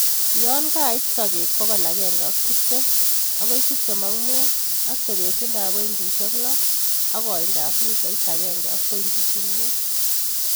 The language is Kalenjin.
Yon kait Sokek pokol agenge ak tiptem akoi tiptem ak mut. Ak tebesindab pointisiek lo ak koindab mitait agenge ak pointisiek mut.